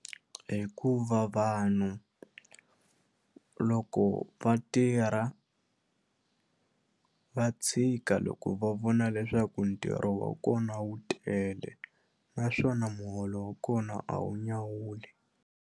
Hikuva vanhu loko va tirha va tshika loko va vona leswaku ntirho wa kona wu tele naswona muholo wa kona a wu nyawuli.